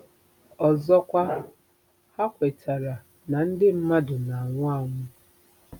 Ọzọkwa, ha kwetara na ndị mmadụ na-anwụ anwụ.